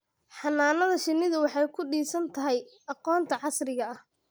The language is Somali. Xannaanada shinnidu waxay ku dhisan tahay aqoonta casriga ah.